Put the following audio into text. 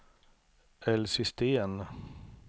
Elsie Sten